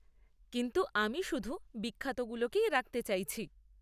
কিন্তু, আমি শুধু বিখ্যাতগুলোকেই রাখতে চাইছি।